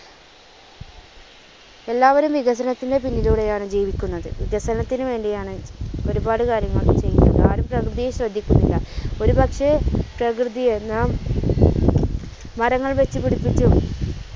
എല്ലാവരും വികസനത്തിന്റെ പിന്നിലൂടെയാണ് ജീവിക്കുന്നത്. വികസനത്തിന് വേണ്ടിയാണ് ഒരുപാട് കാര്യങ്ങൾ ചെയുന്നത് ആരും പ്രകൃതിയെ ശ്രദ്ധിക്കുന്നില്ല. ഒരു പക്ഷേ പ്രകൃതിയെ നാം മരങ്ങൾ വച്ച് പിടിപ്പിച്ചും